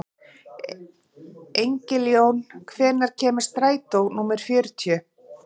Engiljón, hvenær kemur strætó númer fjörutíu?